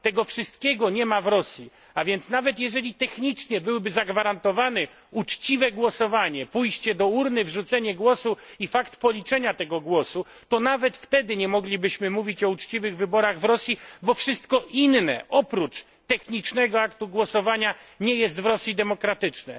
Tego wszystkiego nie ma w Rosji, a więc nawet jeżeli technicznie byłoby zagwarantowane uczciwe głosowanie pójście do urny, wrzucenie głosu i fakt policzenia tego głosu to nawet wtedy nie moglibyśmy mówić o uczciwych wyborach w Rosji, bo wszystko inne oprócz technicznego aktu głosowania nie jest w Rosji demokratyczne.